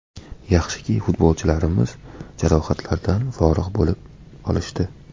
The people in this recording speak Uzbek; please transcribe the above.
Yaxshiki futbolchilarimiz jarohatlardan forig‘ bo‘lib olishdi.